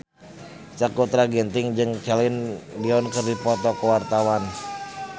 Sakutra Ginting jeung Celine Dion keur dipoto ku wartawan